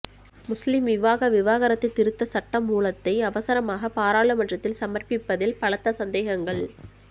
முஸ்லிம் விவாக விவாகரத்து திருத்த சட்டமூலத்தை அவசரமாக பாராளுமன்றத்தில் சமர்ப்பிப்பதில் பலத்த சந்தேகங்கள்